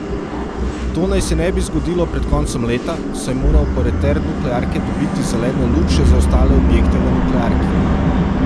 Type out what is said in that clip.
To naj se ne bi zgodilo pred koncem leta, saj mora operater nuklearke dobiti zeleno luč še za ostale objekte v nuklearki.